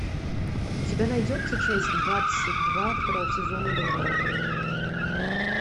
у тебя найдется часть двадцать два второго сезона долбанутые